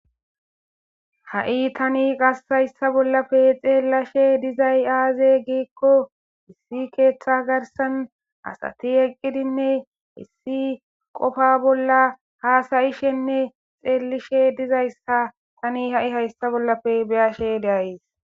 Ha7i tanni qaske haysa bollape xelashe dizay azee giko issi keththa garsan asati eqidinne issi qofa bolla hasa7ishinne xeelishe dizaysa tani ha7i haysa bollappe be7ashe de7ays.